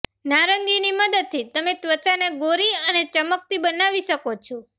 નારંગીની મદદથી તમે ત્વચાને ગોરી અને ચમકતી બનાવી શકો છો